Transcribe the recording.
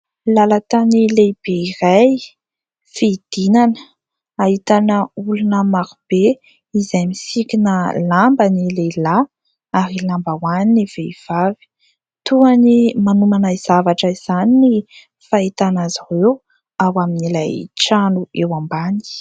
Lalan-tany lehibe iray, fidinana ; ahitana olona marobe izay misikina lamba ny lehilahy, ary lambahoany ny vehivavy. Toy ny manomana zavatra izany ny fahitana azy ireo, ao amin'ilay trano eo ambany.